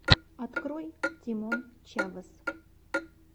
открой тимон чавес